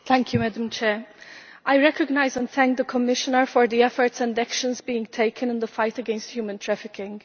Madam President, I recognise and thank the Commissioner for the efforts and actions being taken in the fight against human trafficking.